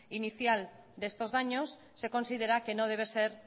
inicial de estos daños se considera que no debe ser